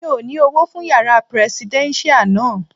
Mi ò ní Owó fún yàrá prẹsidẹ́nṣíà náà.